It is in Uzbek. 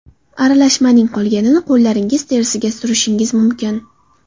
Aralashmaning qolganini qo‘llaringiz terisiga surishingiz mumkin.